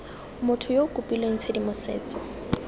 motho yo o kopileng tshedimosetso